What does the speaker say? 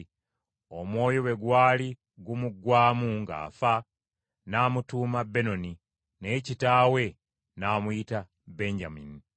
Omwoyo bwe gwali gumuggwaamu ng’afa, n’amutuuma Benoni, naye kitaawe n’amuyita Benyamini.